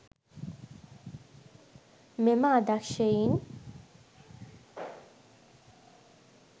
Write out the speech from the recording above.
මෙම අදක්ෂයින්